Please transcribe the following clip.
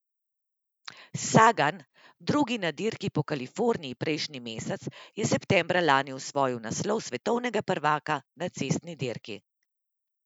Sagan, drugi na Dirki po Kaliforniji prejšnji mesec, je septembra lani osvojil naslov svetovnega prvaka na cestni dirki.